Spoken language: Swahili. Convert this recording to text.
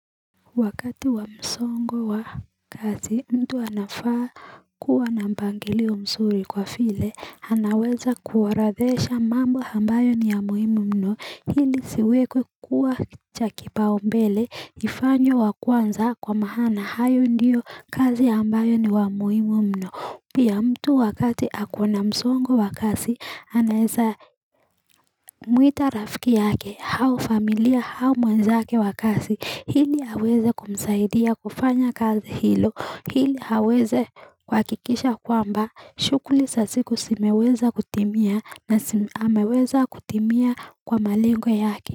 Wakati wa msongo wa kazi mtu anafaa kuwa na mpangilio msuri kwa file, anaweza kuorodhesha mambo ambayo ni ya muhimu mno, hili siwekwe kuwa cha kipao mbele, ifanyo wa kwanza kwa mahana, hayo ndiyo kazi ambayo ni wa muhimu mno. Pia ya mtu wakati ako na msongo wa kasi anaeza mwita rafiki yake hau familia hau mwenzake wa kasi hili haweze kumsaidia kufanya kazi hilo hili haweze kuhakikisha kwamba shughuli sa siku simeweza kutimia na hameweza kutimia kwa malingo yake.